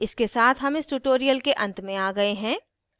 इसके साथ हम इस tutorial के अंत में आ गए हैं